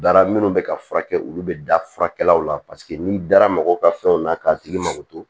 Dara minnu bɛ ka furakɛ olu bɛ da furakɛlaw la paseke n'i dara mɔgɔw ka fɛnw na k'a tigi mako don